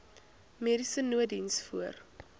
mediese nooddiens voor